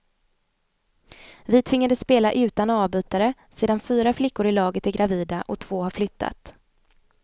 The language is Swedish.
Vi tvingades spela utan avbytare sedan fyra flickor i laget är gravida och två har flyttat.